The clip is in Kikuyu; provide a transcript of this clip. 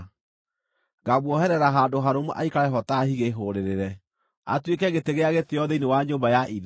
Ngaamuoherera handũ harũmu aikare ho ta higĩ hũũrĩrĩre; atuĩke gĩtĩ gĩa gĩtĩĩo thĩinĩ wa nyũmba ya ithe.